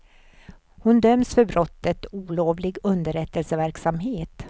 Hon döms för brottet olovlig underrättelseverksamhet.